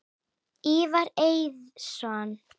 Ívar Eiðsson